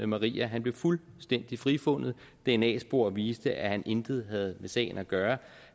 maria han blev fuldstændig frifundet dna spor viste at han intet havde med sagen at gøre